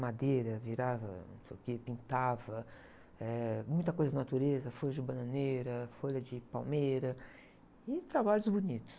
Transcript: Madeira, virava, não sei o que, pintava, eh, muita coisa de natureza, folha de bananeira, folha de palmeira e trabalhos bonitos.